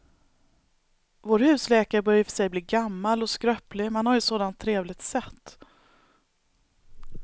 Vår husläkare börjar i och för sig bli gammal och skröplig, men han har ju ett sådant trevligt sätt!